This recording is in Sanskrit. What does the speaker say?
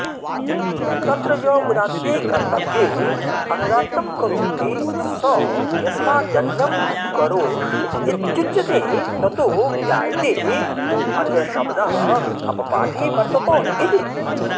तत्र य उदात्ते कत्र्तव्येऽनुदात्तं करोति स यस्मादन्यं करोषीत्युच्यते ततो ज्ञायतेऽन्यशब्दोऽपपाठे वत्र्तत इति